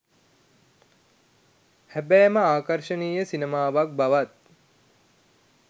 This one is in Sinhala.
හැබෑම ආකර්ෂණීය සිනමාවක් බවත්